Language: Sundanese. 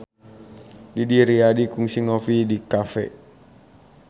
Didi Riyadi kungsi ngopi di cafe